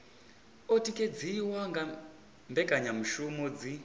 o tikedziwa nga mbekanyamushumo dzi